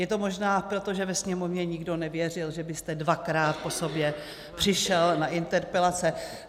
Je to možná proto, že ve Sněmovně nikdo nevěřil, že byste dvakrát po sobě přišel na interpelace.